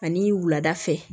Ani wulada fɛ